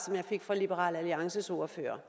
fra liberal alliances ordfører